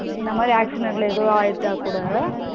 இந்த மாரி accident ல எதுவும் ஆகிட்ட கூட